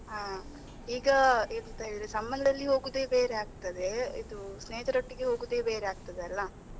ಹಾ, ಈಗ ಎಂತ ಹೇಳಿದ್ರೆ ಸಂಬಂಧದಲ್ಲಿ ಹೋಗುದೇ ಬೇರೆ ಆಗ್ತದೆ. ಇದು ಸ್ನೇಹಿತರೊಟ್ಟಿಗೆ ಹೋಗುದೇ ಬೇರೆ ಆಗ್ತಾದಲ್ಲಾ.